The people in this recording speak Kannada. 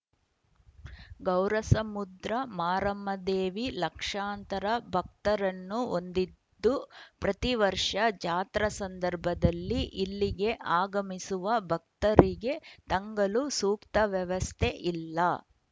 ಗೌರಸಮುದ್ರ ಮಾರಮ್ಮದೇವಿ ಲಕ್ಷಾಂತರ ಭಕ್ತರನ್ನು ಹೊಂದಿದ್ದು ಪ್ರತಿವರ್ಷ ಜಾತ್ರಾ ಸಂದರ್ಭದಲ್ಲಿ ಇಲ್ಲಿಗೆ ಆಗಮಿಸುವ ಭಕ್ತರಿಗೆ ತಂಗಲು ಸೂಕ್ತ ವ್ಯವಸ್ಥೆ ಇಲ್ಲ